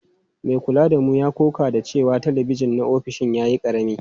Mai kula da mu ya ƙoƙa da cewa talabijin na ofishin ya yi ƙarami.